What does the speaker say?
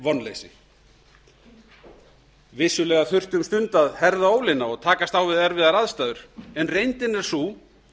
vonleysi vissulega þurfti um stund að herða ólina og takast á við erfiðar aðstæður en reyndin er sú